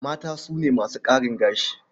Mata su ne masu ƙarin gashi.